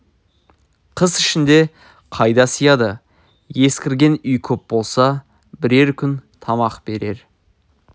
қыс ішінде қайда сыяды есіркеген үй көп болса бірер күн тамақ берер